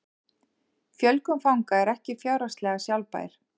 Fjölgun fanga er ekki fjárhagslega sjálfbær